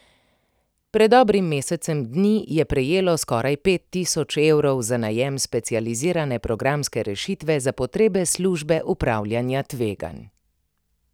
Pred dobrim mesecem dni je prejelo skoraj pet tisoč evrov za najem specializirane programske rešitve za potrebe službe upravljanja tveganj.